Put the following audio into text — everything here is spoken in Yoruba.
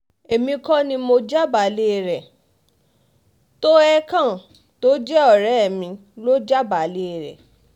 èmi kò ní mọ jábàálẹ̀ rẹ tohecken tó jẹ́ ọ̀rẹ́ mi lọ jábàálẹ̀ rẹ